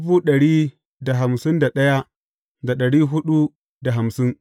Su ne za su zama na biyu in za a tashi.